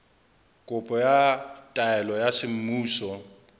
kopo ya taelo ya semmuso